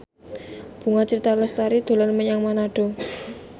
Bunga Citra Lestari dolan menyang Manado